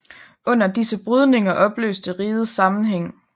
Under disse brydninger opløstes rigets sammenhæng